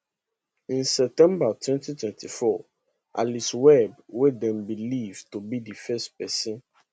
in september 2024 alice webb wey dem believe to bedi first pesin